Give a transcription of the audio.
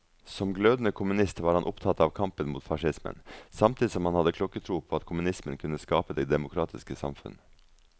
Som glødende kommunist var han opptatt av kampen mot facismen, samtidig som han hadde klokketro på at kommunismen kunne skape det demokratiske samfunn.